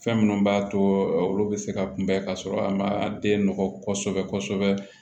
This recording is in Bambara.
Fɛn minnu b'a to olu bɛ se ka kunbɛn ka sɔrɔ a ma den nɔgɔ kosɛbɛ kosɛbɛ